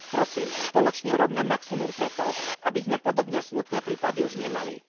Prosím, spoločne urobme maximum pre to, aby sme podobné smutné prípady už nemali.